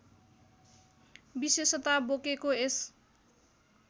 विशेषता बोकेको यस